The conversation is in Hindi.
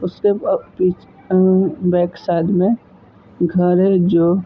उसके अ पीछ अ बैक साइड में घर है जो --